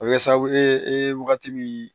A bɛ kɛ sababu ye e ye wagati min